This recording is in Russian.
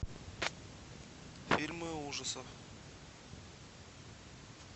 фильмы ужасов